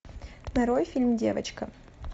нарой фильм девочка